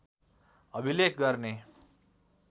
अभिलेख गर्ने